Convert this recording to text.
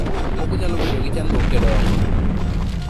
Moko nyalo bedo gi chandruok e dongo